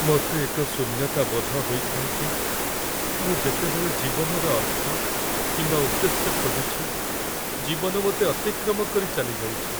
ମୋତେ ଏକ ଶୂନ୍ୟତାବୋଧ ହୋଇଥାଏ ଯେ ମୁଁ ଯେତେବେଳେ ଜୀବନର ଅର୍ଥ କିମ୍ବା ଉଦ୍ଦେଶ୍ୟ ଖୋଜୁଛି, ଜୀବନ ମୋତେ ଅତିକ୍ରମ କରି ଚାଲିଯାଉଛି ।